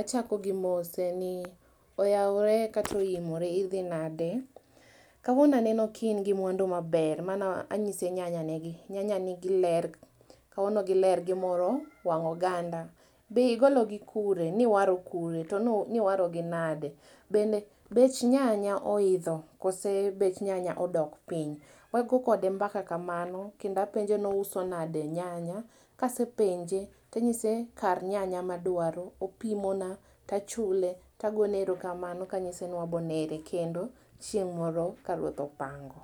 Achako gi mose ni oyaore kata oimore, idhi nade. Kawuono aneno ki ingi mwandu maber, mano anyise nyanya negi, nyanya nigi ler, kawuono giler gimoro wang oganda. Be igolo gi kure, niwaro kure, toni warogi nade, bende bech nyanya ohidho koso bech nyanya odok piny. Wago kode mbaka kamano kendo apenje ni ouso nade nyanya kasepenje tanyise kar nyanya madwaro, opimona, tachule tagone erokamano kanyise ni wabo nere kendo chieng moro ka ruoth opango